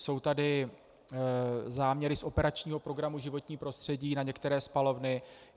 Jsou tady záměry z operačního programu Životní prostředí na některé spalovny.